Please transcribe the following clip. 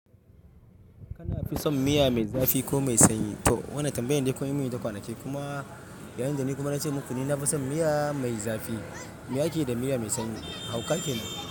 Kana fi son miya mai zafi ko mai sanyi? To, wannan tambayar dai kawai mun yi ta kwanaki kuma bayan da ni kuma na ce muku ni na fi son miya mai zafi, miya ke da miya mai sanyi. Hauka kenan.